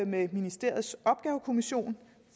med ministeriets opgavekommission